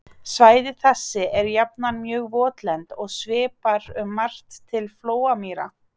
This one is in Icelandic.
Svæði þessi eru jafnan mjög votlend og svipar um margt til flóamýra.